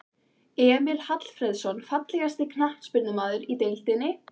Emil Hallfreðsson Fallegasti knattspyrnumaðurinn í deildinni?